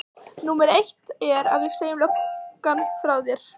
Númer eitt er að við segjum löggan frá þér.